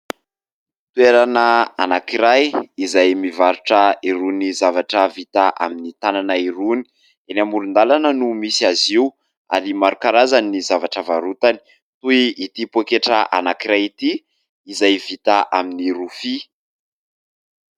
Toerana anankiray izay mivarotra irony zavatra vita amin'ny tanana irony. Eny amoron-dalana no misy azy io, ary maro karazany ny zavatra varotany ; toy ity poketra iray ity, izay vita amin'ny rofia.